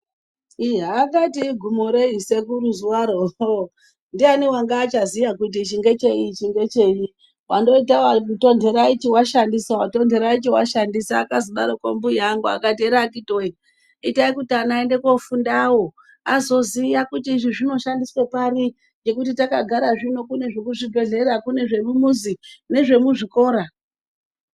Iya akati igumo rei sekuru zuwaro uhloo ndiyani wanga achaziya kuti ichi ngechei ichi ngechei wandoita watontera ichi washandisa watontera ichi washandisa akazodarokwo mbuya angu akati ere akiti woye itai kuti ana aende kofundawo azoziya kuti izvi zvinoshandiswe pari ngekuti takagara zvino kune zvekuzvibhedhlera kune nezve mumuzi nezvemuzvikora.